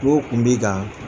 Ko tun b'i kan